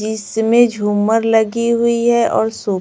इसमें झूमर लगी हुई है और--